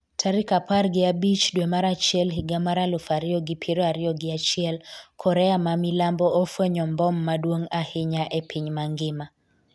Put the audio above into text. tarik apar gi abich dwe mar achiel higa mar aluf ariyo gi piero ariyo gi achiel Korea mamilambo ofwenyo mbom maduong' ahinya e piny mangima